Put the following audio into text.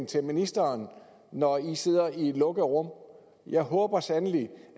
til ministeren når i sidder i et lukket rum jeg håber sandelig